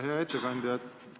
Hea ettekandja!